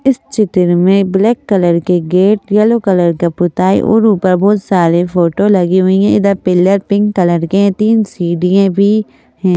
इस चित्र में ब्लैक कलर के गेट यलो कलर का पुताई और ऊपर बहुत सारे फोटो लगी हुई हैं इधर पिलर पिंक कलर के हैं तीन सीढ़ियाँ भी हैं।